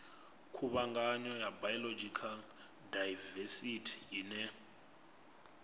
khuvhangano ya biological daivesithi ine